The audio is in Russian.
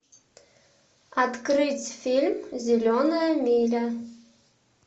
открыть фильм зеленая миля